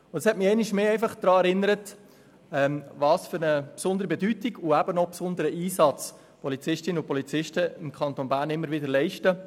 Das hat mich einmal mehr daran erinnert, welch besonderen Einsatz Polizistinnen und Polizisten im Kanton Bern immer wieder leisten.